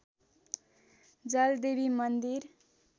जलदेवी मन्दिर